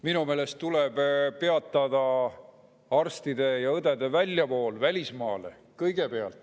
Minu meelest tuleb kõigepealt peatada arstide ja õdede väljavool välismaale.